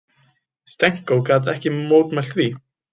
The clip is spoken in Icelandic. Stenko gat ekki mótmælt því.